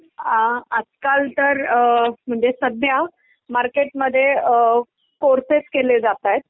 आ आजकाल तर अ म्हणजे सध्या मार्केटमध्ये अ कोर्सेस केले जातायेत.